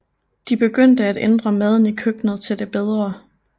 De begyndte at ændre maden i køkkenet til det bedre